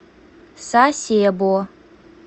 сасебо